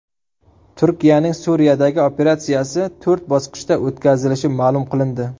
Turkiyaning Suriyadagi operatsiyasi to‘rt bosqichda o‘tkazilishi ma’lum qilindi.